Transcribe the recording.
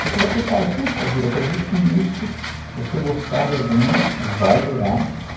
Porque você fala, puxa vida, quer dizer que isso, você gostar de alguém vai gerar problemas.